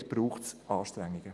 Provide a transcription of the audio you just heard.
Dort braucht es Anstrengungen.